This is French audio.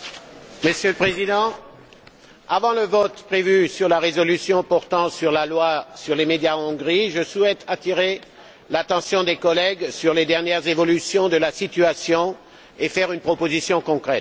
Monsieur le Président, avant le vote prévu sur la résolution portant sur la loi sur les médias en Hongrie, je souhaite attirer l'attention des collègues sur les dernières évolutions de la situation et faire une proposition concrète.